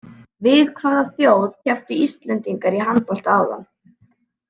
Við hvaða þjóð kepptu Íslendingar í handbolta áðan?